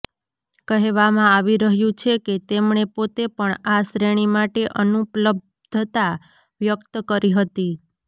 કહેવામાં આવી રહ્યું છે કે તેમણે પોતે પણ આ શ્રેણી માટે અનુપલબ્ધતા વ્યક્ત કરી હતી